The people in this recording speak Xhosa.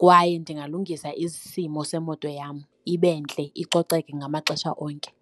kwaye ndingalungisa isimo semoto yam ibe ntle icoceke ngamaxesha onke.